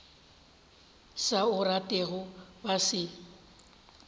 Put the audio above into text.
sa o ratego ba se